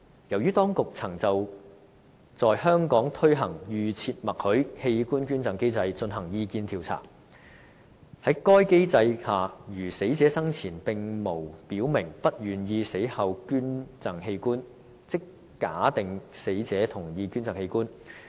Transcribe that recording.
另外，當局曾就在香港推行"預設默許"器官捐贈機制，進行意見調查。在該機制下，如死者生前並無表明不願意死後捐贈器官，即假定死者同意捐贈器官。